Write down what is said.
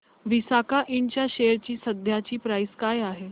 Visaka ind च्या share ची सध्याची प्राइस काय आहे